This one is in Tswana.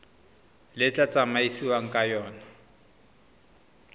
le tla tsamaisiwang ka yona